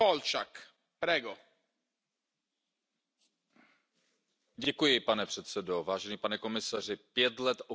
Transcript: Pane předsedo, pane komisaři, pět let okupace Krymu je pět let bezprecedentního porušování mezinárodního práva.